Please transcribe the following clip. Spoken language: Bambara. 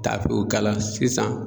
Taw u kala sisan